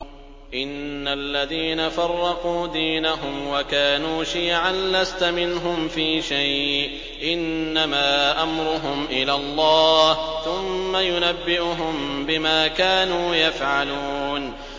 إِنَّ الَّذِينَ فَرَّقُوا دِينَهُمْ وَكَانُوا شِيَعًا لَّسْتَ مِنْهُمْ فِي شَيْءٍ ۚ إِنَّمَا أَمْرُهُمْ إِلَى اللَّهِ ثُمَّ يُنَبِّئُهُم بِمَا كَانُوا يَفْعَلُونَ